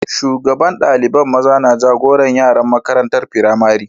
Shugaban dalibain maza na jagoran yaran makarantan firamari.